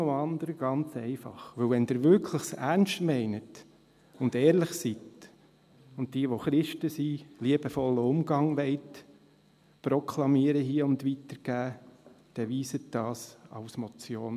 Noch etwas, ganz einfach: Wenn Sie es wirklich ernst meinen und ehrlich sind, und wenn die, welche Christen sind, hier einen liebevollen Umgang proklamieren und weitergeben wollen, dann überweisen Sie das als Motion.